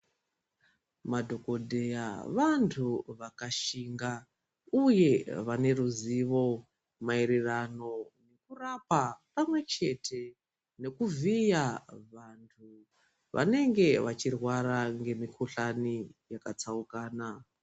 Madhokodheya vantu vakashinga uye vaneruzivo maererano nekurapa pamwechete nekuvhiya vantu vanenge vachirwara ngemikhuhlani yakatsaukana.